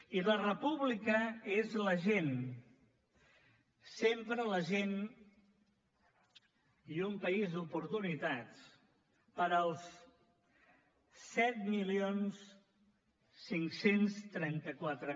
i la república és la gent sempre la gent i un país d’oportunitats per als set mil cinc cents i trenta quatre